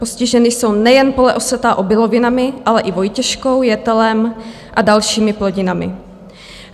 Postižena jsou nejen pole osetá obilovinami, ale i vojtěškou, jetelem a dalším plodinami.